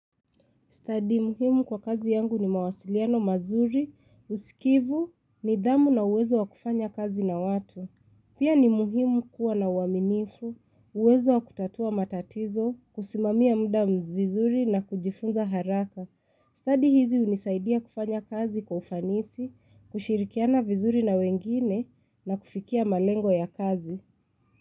Stadi muhimu kwa kazi yangu ni mawasiliano mazuri, usikivu, nidhamu na uwezo wa kufanya kazi na watu. Pia ni muhimu kuwa na uaminifu, uwezo wa kutatua matatizo, kusimamia muda m vizuri na kujifunza haraka. Stadi hizi unisaidia kufanya kazi kwa ufanisi, kushirikiana vizuri na wengine na kufikia malengo ya kazi.